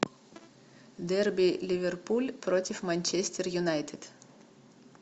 дерби ливерпуль против манчестер юнайтед